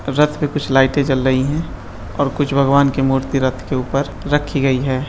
रथ पे कुछ लाइटे जल रही हैं और कुछ भगवन की मूर्ति रथ के ऊपर रखी गयी हैं।